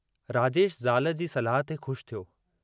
राजेश ज़ाल जी सलाह ते ख़ुश थियो।